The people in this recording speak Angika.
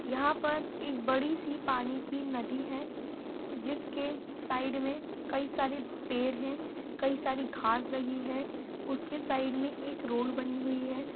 यहाँ पर एक बड़ी-सी पानी की नदी है जिसके साइड में कई सारे पेड़ हैं कई सारी घास लगी हैं उसके साइड़ में एक रोड बनी हुई है।